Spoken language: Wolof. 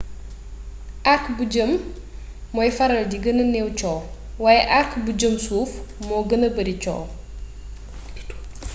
arc bu jëm mooy faral di gëna néew coow waaye arc bu jëm suuf moo gëna bari coow